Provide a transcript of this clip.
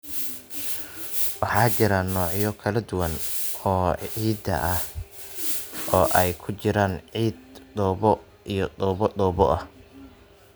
Waxaa jira noocyo kala duwan oo ciidda ah, oo ay ku jiraan ciid, dhoobo, iyo dhoobo dhoobo ah.